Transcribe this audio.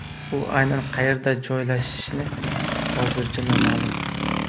U aynan qayerda joylashishi hozircha noma’lum.